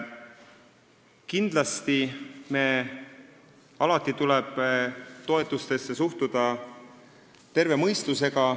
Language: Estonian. Kindlasti tuleb toetustesse alati suhtuda terve mõistusega.